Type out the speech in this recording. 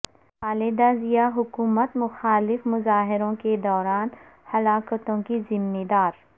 خالدہ ضیا حکومت مخالف مظاہروں کے دوران ہلاکتوں کی ذمہ دار